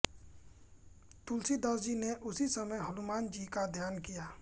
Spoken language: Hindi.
तुलसीदास जी ने उसी समय हनुमान जी का ध्यान किया